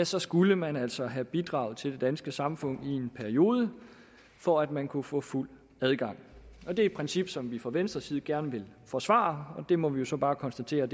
så skulle man altså have bidraget til det danske samfund i en periode for at man kunne få fuld adgang det er et princip som vi fra venstres side gerne vil forsvare og det må vi jo så bare konstatere